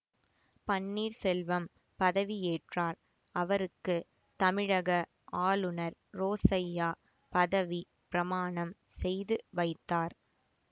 பன்னீர்செல்வம் பதவியேற்றார் அவருக்கு தமிழக ஆளுநர் ரோசய்யா பதவி பிரமாணம் செய்து வைத்தார்